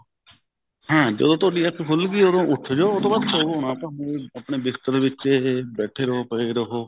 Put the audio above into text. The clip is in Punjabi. ਹਾਂ ਜਦੋਂ ਤੁਹਾਡੀ ਅੱਖ ਖੁੱਲ ਗਈ ਉਦੋਂ ਉੱਠ ਜੋ ਉਹ ਤੋ ਬਾਅਦ ਸੋਵੋ ਨਾ ਭਾਵੇਂ ਆਪਣੇ ਬਿਸਤਰੇ ਵਿੱਚ ਹੀ ਬੈਠੇ ਰਹੋ ਪਏ ਰਹੋ